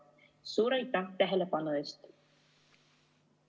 Suur aitäh tähelepanu eest!